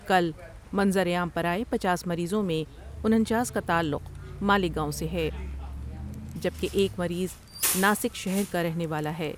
کل منظر عام پر آئے پچاس مریضوں میں انچاس کاتعلق مالیگاؤں سے ہے جبکہ ایک مریض ناسک شہر کا رہنے والا ہے ۔